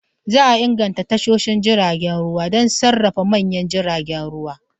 Za a inganta tashoshin jiragen ruwa don sarrafa manyan jiragen ruwa.